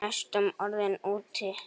Næstum orðinn úti